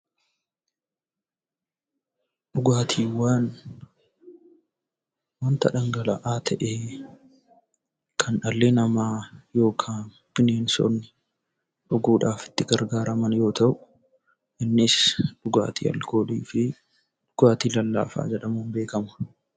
Dhugaatiiwwan. Dhugaatiiwwan wanta dhangala'aa ta'ee; kan dhalli namaa yookiin bineensotni dhuguudhaaf ittti gargaaraman yammuu ta'u; innis dhugaatii alkoolii fi dhugaatii lallaafaa jedhamuun beekama.